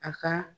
A ka